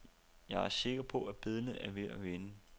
Jeg er sikker på, at billedet er ved at vende.